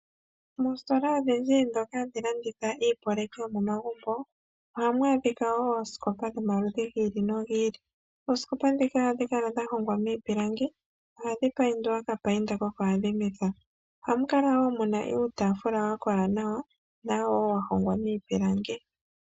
Moositola odhindji ndhoka hadhi landitha iiyopaleki yomomagumbo ohamu adhika woo oosikopa dhomaludhi gi ili nogi ili . Oosikopa ndhika ohadhi kala dha hongwa miipilangi. Ohadhi payindwa oka payinda koka adhimitho . Ohamu kala woo muna uutaafula wakola nawa nawo wahongwa miipilangi.